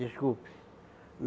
Desculpe.